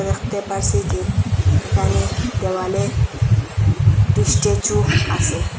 আখতে পারসি যে এখানে দেওয়ালে একটি স্ট্যাচু আসে।